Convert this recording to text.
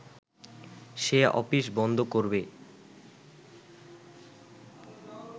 সে office বন্ধ করবে